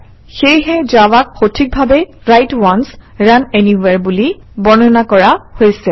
সেয়েহে জাভাক সঠিকভাৱেই ৰাইট অন্স ৰুণ এনিৱহেৰে বুলি বৰ্ণনা কৰা হৈছে